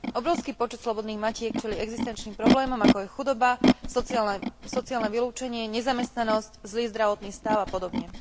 Obrovský počet slobodných matiek čelí existenčným problémom, ako je chudoba, sociálne vylúčenie, nezamestnanosť, zlý zdravotný stav a podobne.